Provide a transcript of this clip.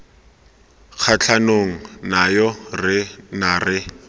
kgatlhanong nayo re ne re